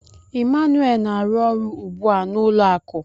Emmanuel na-arụ ọrụ ugbu a n'ụlọ akụ.